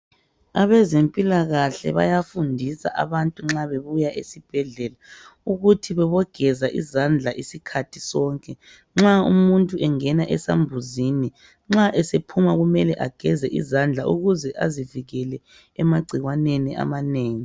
Abezempilakahle bayafundisa abantu nxa bebuya esibhedlela ukuthi bebogeza izandla isikhathi sonke nxa umuntu engena esambuzini. Nxa esephuma kumele ageze izandla ukuze azivikele emagcikwaneni amanengi.